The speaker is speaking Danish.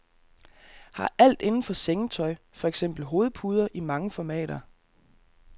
Her er alt indenfor sengetøj, for eksempel hovedpuder i mange formater.